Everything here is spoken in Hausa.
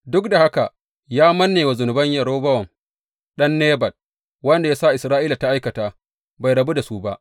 Duk da haka ya manne wa zunuban Yerobowam ɗan Nebat, wanda ya sa Isra’ila ta aikata, bai rabu da su ba.